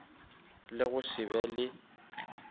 le go se be le